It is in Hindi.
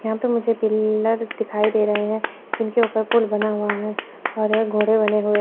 यहां पे मुझे पिलर्स दिखाई दे रहें हैं जिनके ऊपर पुल बना हुआ है और ये घोड़े बने हुए--